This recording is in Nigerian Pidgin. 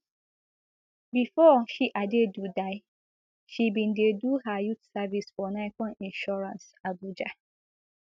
bifor she adaidu die she bin dey do her youth service for nicon insurance abuja